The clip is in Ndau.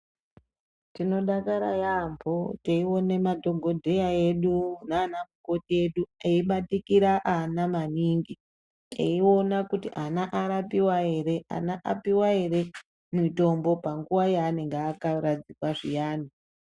Tinodakara yaampho, teiona madhogodheya edu naana mukoti edu, eibatikira ana maningi, eiona kuti ana arapiwa ere, ana apuwa ere mutombo, panhuwa yaanenge akaradzikwa zviyani.